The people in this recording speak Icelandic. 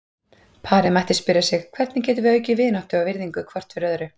Parið mætti spyrja sig: Hvernig getum við aukið vináttu og virðingu hvort fyrir öðru?